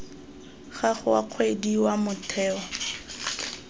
gago wa kgwedi wa motheo